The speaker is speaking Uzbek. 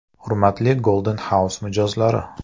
Hurmatli Golden House mijozlari!